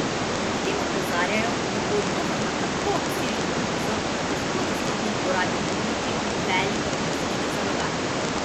Ob tem opozarjajo, da bo odgovor na tako obsežno krizo na težko dostopnih goratih območjih velik logistični zalogaj.